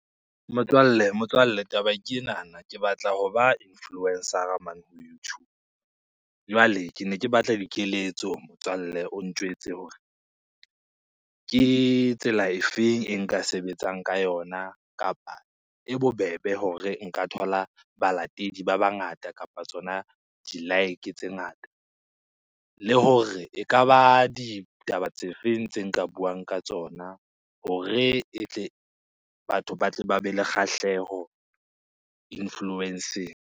Motswalle motswalle taba ke enana, ke batla hoba influencer-a mane ho YouTube. Jwale kene ke batla dikeletso motswalle, o ntjwetse hore ke tsela efeng e nka sebetsang ka yona kapa e bobebe hore nka thola balatedi ba bangata kapa tsona di-like tse ngata? Le hore ekaba ditaba tse feng tse nka buang ka tsona hore e tle, batho ba tle ba be le kgahleho influence-eng?